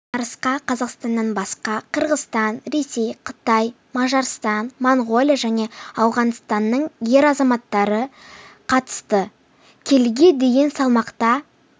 жарысқа қазақстаннан басқа қырғызстан ресей қытай мажарстан моңғолия және ауғанстанның ер азаматтары қатысты келіге дейінгі салмақта